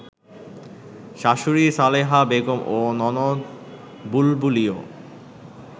শাশুড়ি সালেহা বেগম ও ননদ বুলবুলিও